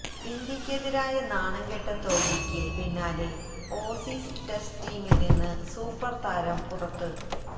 ഇന്ത്യക്കെതിരായ നാണംകെട്ട തോല്വിക്ക് പിന്നാലെ ഓസീസ് ടെസ്റ്റ് ടീമില് നിന്ന് സൂപ്പര് താരം പുറത്ത്